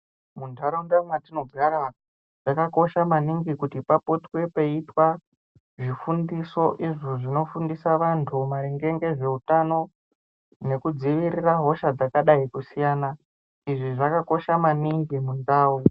Muntaraunda mwatinogara, zvakakosha maningi kuti papotwe peiitwa zvifundiso, izvo zvinofundise vantu maringe ngezveutano nekudziirira hosha dzakadai kusiyana. Izvi zvakakosha maningi muntau.